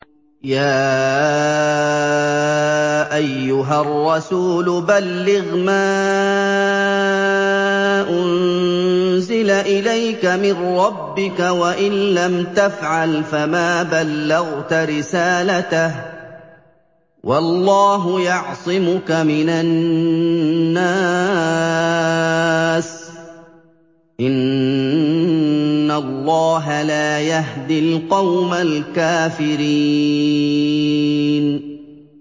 ۞ يَا أَيُّهَا الرَّسُولُ بَلِّغْ مَا أُنزِلَ إِلَيْكَ مِن رَّبِّكَ ۖ وَإِن لَّمْ تَفْعَلْ فَمَا بَلَّغْتَ رِسَالَتَهُ ۚ وَاللَّهُ يَعْصِمُكَ مِنَ النَّاسِ ۗ إِنَّ اللَّهَ لَا يَهْدِي الْقَوْمَ الْكَافِرِينَ